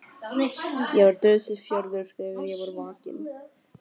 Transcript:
Ég var dauðsyfjaður þegar ég var vakinn.